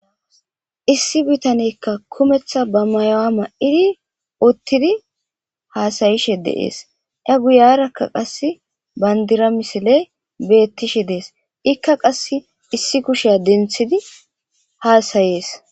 Issi bitaneyka kumeta ba ma'uwa ma'idi utidi hasa'ishe dees a guyeraka qase bandira missle betishe dees ika qasi issi kushiya dentidi hasayes.